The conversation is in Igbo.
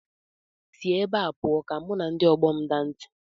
Si ebe a pụọ ka mụ na ndị ọgbọ m daa ntị!